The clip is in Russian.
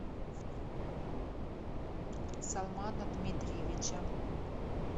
салмана дмитриевича